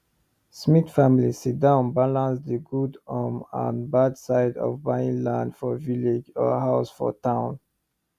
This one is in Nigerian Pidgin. smith family sit down balance the good um and bad side of buying land for village or house for town